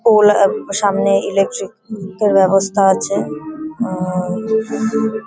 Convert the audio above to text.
ফুল আর সামনে ইলেকট্রিক তো ব্যাবস্থা আছে উম-উম।